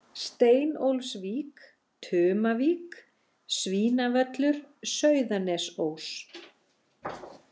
Steinólfsvík, Tumavík, Svínavöllur, Sauðanesós